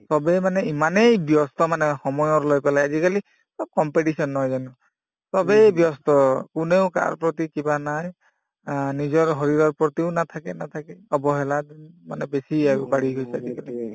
চবে মানে ইমানেই ব্যস্ত মানে সময়ৰ লৈ পেলাই আজিকালি চব competition নহয় জানো চবেই ব্যস্ত কোনেও কাৰ প্ৰতি কিবা নাই অ নিজৰ শৰীৰৰ প্ৰতিও নাথাকে নাথাকে অৱহেলাৰ উম মানে বেছি আৰু বাঢ়ি গৈছে আজিকালি